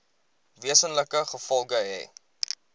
wesenlike gevolge hê